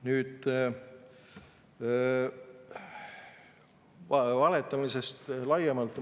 Nüüd valetamisest laiemalt.